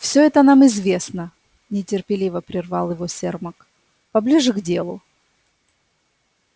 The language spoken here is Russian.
все это нам известно нетерпеливо прервал его сермак поближе к делу